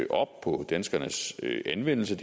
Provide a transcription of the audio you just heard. op på danskernes anvendelse af